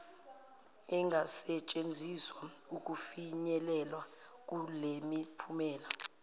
engasetshenziswa ukufinyelelwa kulemiphumela